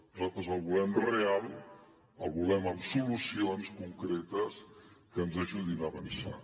nosaltres la volem real la volem amb solucions concretes que ens ajudin a avançar